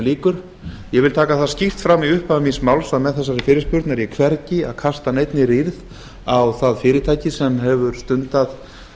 ég vil taka það skýrt fram í upphafi míns máls að með þessari fyrirspurn er ég hvergi að kasta neinni rýrð á það fyrirtæki sem hefur stundað